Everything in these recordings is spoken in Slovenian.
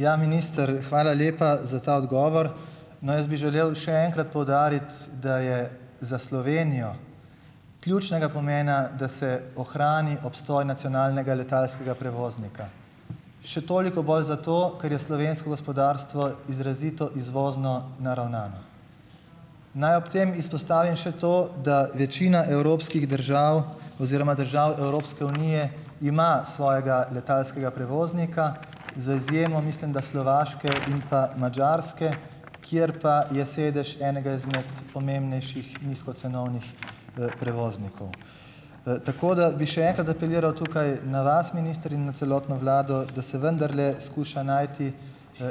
Ja, minister, hvala lepa za ta odgovor. No, jaz bi želel še enkrat poudariti, da je za Slovenijo ključnega pomena, da se ohrani obstoj nacionalnega letalskega prevoznika. Še toliko bolj zato, ker je slovensko gospodarstvo izrazito izvozno naravnano. Naj ob tem izpostavim še to, da večina evropskih držav oziroma držav Evropske unije ima svojega letalskega prevoznika, z izjemo, mislim, da Slovaške in pa Madžarske , kjer pa je sedež enega izmed pomembnejših nizkocenovnih, prevoznikov . tako, da bi še enkrat apeliral tukaj na vas minister in na celotno vlado, da se vendarle skuša najti,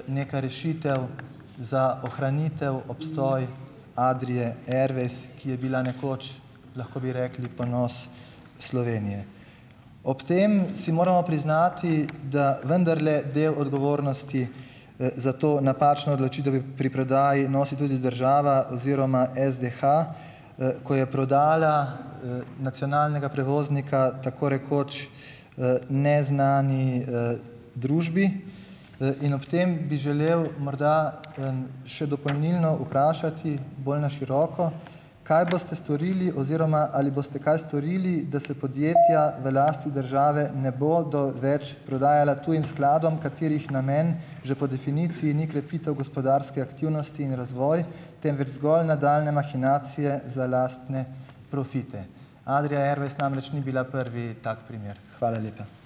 neka rešitev za ohranitev, obstoj Adrie Airways, ki je bila nekoč, lahko bi rekli, ponos Slovenije. Ob tem si moramo priznati, da vendarle del odgovornosti, zato napačna odločitev pri prodaji nosi tudi država oziroma SDH, ko je prodala, nacionalnega prevoznika, tako rekoč, neznani, družbi, in ob tem bi želel morda, še dopolnilno vprašati, bolj na široko, kaj boste storili oziroma ali boste kaj storili, da se podjetja v lasti države ne bodo več prodajala tujim skladom, katerih namen že po definiciji ni krepitev gospodarske aktivnosti in razvoj, temveč zgolj nadaljnje mahinacije za lastne profite. Adria Airways namreč ni bila prvi tak primer. Hvala lepa.